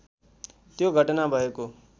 त्यो घटना भएको